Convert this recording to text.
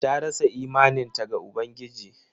Ta rasa imaninta ga Ubangiji.